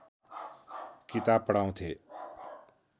किताब पढाउँथे